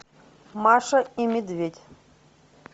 маша и медведь